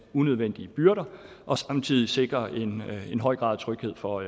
unødvendige byrder og samtidig sikrer en høj grad af tryghed for